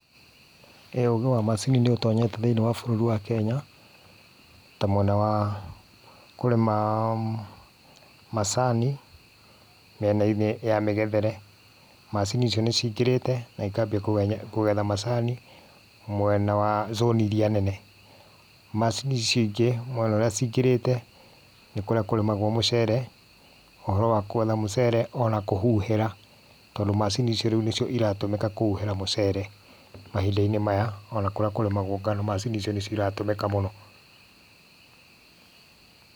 ĩ, ũgĩ wa macini nĩ ũtonyete thĩinĩ wa bũrũri wa Kenya, ta mwena wa kũrĩma macani, mĩena-inĩ ya mĩgethere. Macini icionĩ ciingĩrĩte na ikaambia kũgetha macani mwena wa zone iria nene. Macini icio ingĩ mwena ũrĩa ciingirĩte, nĩ kurĩa kũrĩmagwo mũcere. Ũhoro wa kũgetha mũcere o na kũhũhĩra, tondũ macini icio rĩu nĩ cio ciratũmĩka kũhuhĩra mũcere mahinda-inĩ maya. O na kũrĩa kũrĩmagwo ngano, macini icio nĩ ciratũmĩka mũno.